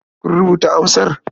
Kun rubuta amsar?